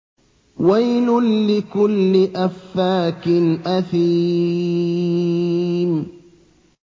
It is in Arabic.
وَيْلٌ لِّكُلِّ أَفَّاكٍ أَثِيمٍ